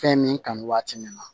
Fɛn min kanu waati min na